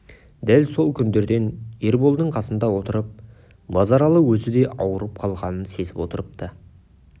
дәл сол күндерде ерболдың қасында отырып базаралы өзі де ауырып қалғанын сезіп отырыпты